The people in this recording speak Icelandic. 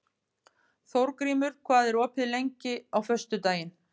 Þórgrímur, hvað er opið lengi á föstudaginn?